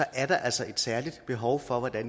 er der altså et særligt behov for at